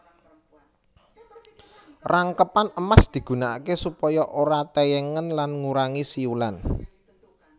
Rangkepan emas digunakaké supaya ora tèyèngen lan ngurangi siulan